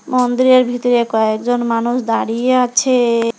মন্দিরের ভিতরে কয়েকজন মানুষ দাঁড়িয়ে আছেএ।